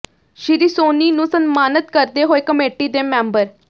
ਸ਼੍ਰੀ ਸੋਨੀ ਨੂੰ ਸਨਮਾਨਤ ਕਰਦੇ ਹੋਏ ਕਮੇਟੀ ਦੇ ਮੈਬਰ